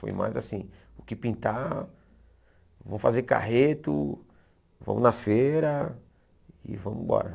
Foi mais assim, o que pintar, vamos fazer carreto, vamos na feira e vamos embora.